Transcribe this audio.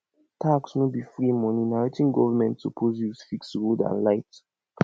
tax no be free money na wetin government suppose use fix road and light